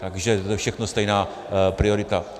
Takže to je všechno stejná priorita.